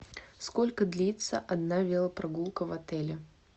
сколько длится одна велопрогулка в отеле